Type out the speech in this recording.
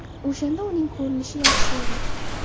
O‘shanda uning ko‘rinishi yaxshi edi.